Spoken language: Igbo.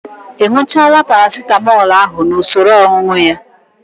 Ị ñụchaala Paracitamọl ahụ n'usoro ọñụñụ ya?